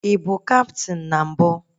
I bụ kaptịn na mbụ?